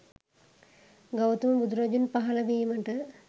ගෞතම බුදුරජුන් පහළ වීමට